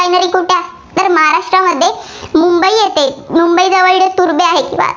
Turbhe